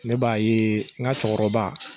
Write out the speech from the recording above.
Ne b'a ye n ka cɛkɔrɔba